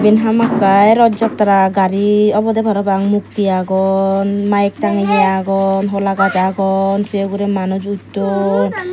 eben hamakkai rot jatra gari obodey parapang mukti agon mayeg tangeye agon hola gaj agon sey ugurey manus utton.